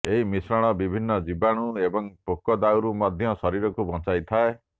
ଏହି ମିଶ୍ରଣ ବିଭିନ୍ନ ଜୀବାଣୁ ଏବଂ ପୋକ ଦାଉରୁ ମଧ୍ୟ ଶରୀରକୁ ବଞ୍ଚାଇଥାଏ